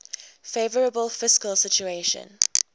favourable fiscal situation